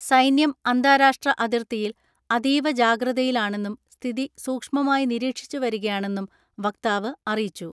സൈന്യം അന്താരാഷ്ട്ര അതിർത്തിയിൽ അതീവ ജാഗ്രതയിലാണെന്നും സ്ഥിതി സൂക്ഷ്മമായി നിരീക്ഷിച്ചുവരികയാണെന്നും വക്താവ് അറിയിച്ചു